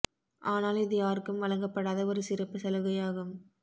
ஆனால் இது யாருக்கும் வழங்கப்படாத ஒரு சிறப்பு சலுகை ஆகும்